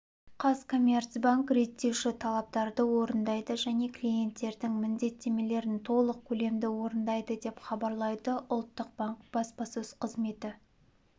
қазкоммерцбанк реттеуші талаптарды орындайды және клиенттердің міндеттемелерін толық көлемде орындайды деп хабарлайды ұлттық банк баспасөз қызметі